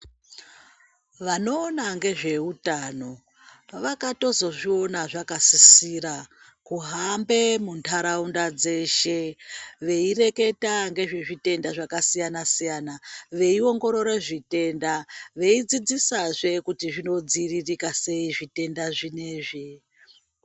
Vanowona ngezvehutano vakatozozviwona zvakasisira kuhambe muntaraunda dzeshe beyireketa ngezvezvitenda zvakasiyana siyana beyiwongorere zvitenda, beyidzidzisa zve kuti zvinodziyirika seyi zvitenda zvineizvi.